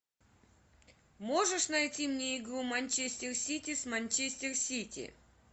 можешь найти мне игру манчестер сити с манчестер сити